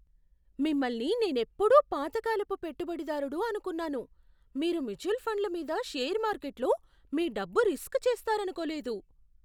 మిమ్మల్ని నేనెప్పుడూ పాత కాలపు పెట్టుబడిదారుడు అనుకున్నాను, మీరు మ్యూచువల్ ఫండ్ల మీద షేర్ మార్కెట్లో మీ డబ్బు రిస్క్ చేస్తారనుకోలేదు.